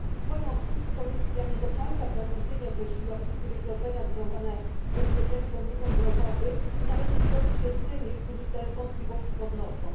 W moim odczuciu Komisja nie do końca precyzyjnie określiła wszystkie wykroczenia związane z bezpieczeństwem w ruchu drogowym i należy zgodzić się z tymi, którzy te wątpliwości podnoszą.